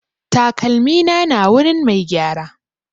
Takalmina na wurin mai gyara.